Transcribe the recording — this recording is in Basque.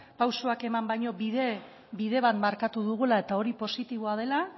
pausoak eman baino bide bat markatu dugula eta hori positiboa dela